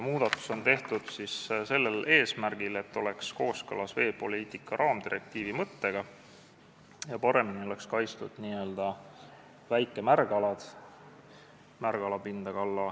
Muudatus on tehtud sellel eesmärgil, et eelnõu oleks kooskõlas veepoliitika raamdirektiivi mõttega ja paremini oleksid kaitstud n-ö väikemärgalad .